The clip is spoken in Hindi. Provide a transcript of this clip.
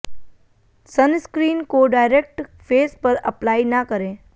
सनस्क्रीन को डायरेक्ट फेस पर अप्लाई न करे